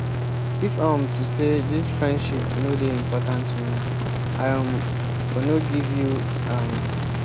na sake of sey i wan make we be friends dey go i dey do all dis wan.